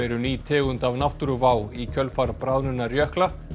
eru ný tegund af náttúruvá í kjölfar bráðnunar jökla